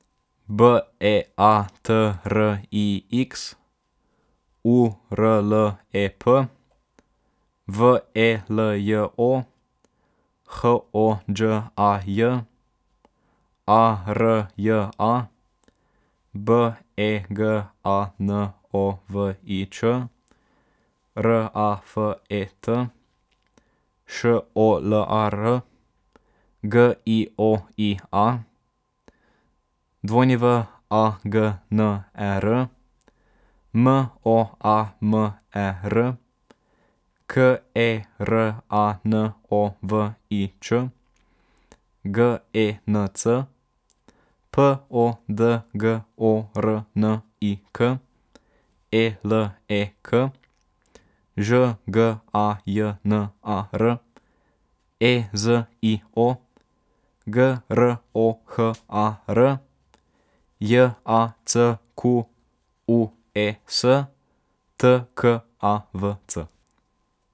B E A T R I X, U R L E P; V E L J O, H O Đ A J; A R J A, B E G A N O V I Ć; R A F E T, Š O L A R; G I O I A, W A G N E R; M O A M E R, K E R A N O V I Č; G E N C, P O D G O R N I K; E L E K, Ž G A J N A R; E Z I O, G R O H A R; J A C Q U E S, T K A V C.